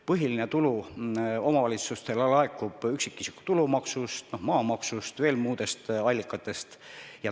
Põhiline tulu omavalitsustele laekub üksikisiku tulumaksust, maamaksust ja veel muudest allikatest.